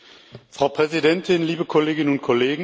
Frau Präsidentin, liebe Kolleginnen und Kollegen!